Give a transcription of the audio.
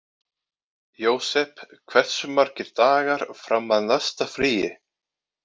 Jósep, hversu margir dagar fram að næsta fríi?